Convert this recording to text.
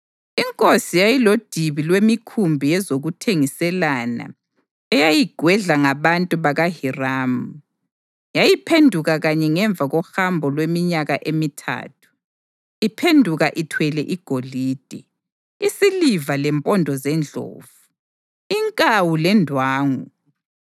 Inkosi yayilodibi lwemikhumbi yezokuthengiselana eyayigwedlwa ngabantu bakaHiramu. Yayiphenduka kanye ngemva kohambo lweminyaka emithathu, iphenduka ithwele igolide, isiliva lempondo zendlovu, inkawu lendwangu.